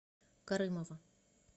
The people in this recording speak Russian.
карымова